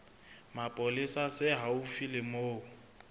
mapolesa se haufi le moo